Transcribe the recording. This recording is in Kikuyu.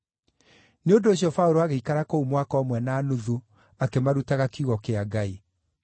Nĩ ũndũ ũcio Paũlũ agĩikara kũu mwaka ũmwe na nuthu, akĩmarutaga kiugo kĩa Ngai.